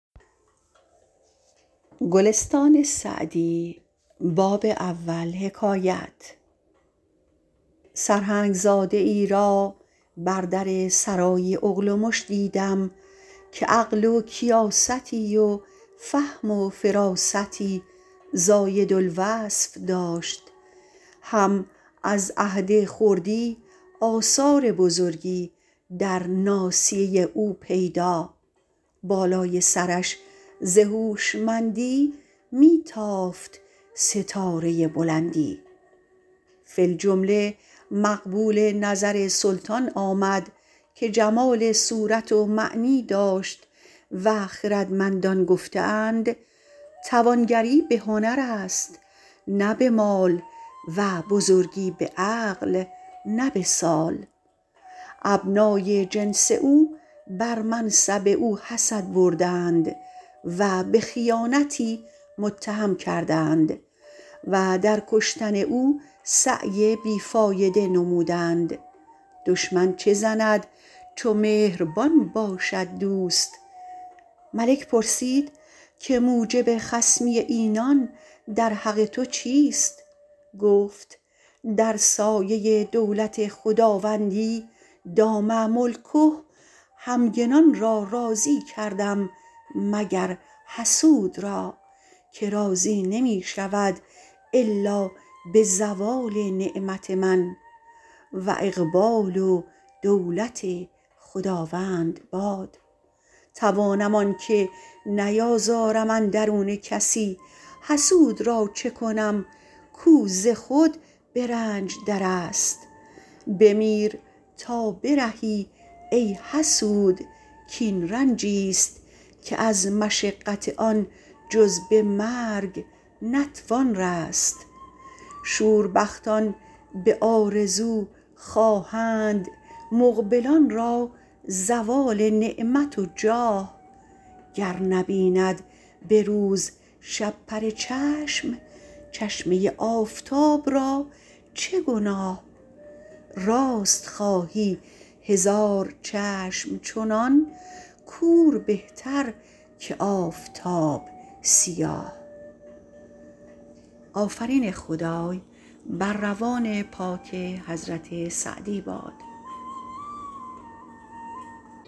سرهنگ زاده ای را بر در سرای اغلمش دیدم که عقل و کیاستی و فهم و فراستی زاید الوصف داشت هم از عهد خردی آثار بزرگی در ناصیه او پیدا بالای سرش ز هوشمندی می تافت ستاره بلندی فی الجمله مقبول نظر سلطان آمد که جمال صورت و معنی داشت و خردمندان گفته اند توانگری به هنر است نه به مال و بزرگی به عقل نه به سال ابنای جنس او بر منصب او حسد بردند و به خیانتی متهم کردند و در کشتن او سعی بی فایده نمودند دشمن چه زند چو مهربان باشد دوست ملک پرسید که موجب خصمی اینان در حق تو چیست گفت در سایه دولت خداوندی دام ملکه همگنان را راضی کردم مگر حسود را که راضی نمی شود الا به زوال نعمت من و اقبال و دولت خداوند باد توانم آنکه نیازارم اندرون کسی حسود را چه کنم کو ز خود به رنج در است بمیر تا برهی ای حسود کاین رنجی ست که از مشقت آن جز به مرگ نتوان رست شوربختان به آرزو خواهند مقبلان را زوال نعمت و جاه گر نبیند به روز شپره چشم چشمه آفتاب را چه گناه راست خواهی هزار چشم چنان کور بهتر که آفتاب سیاه